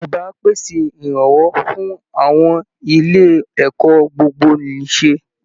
Ìjọba á pèsè ìrànwọ́ fún àwọn ilé ẹ̀kọ́ gbogbo-nìṣe